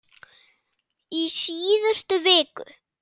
í síðustu viku.